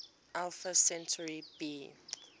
alpha centauri b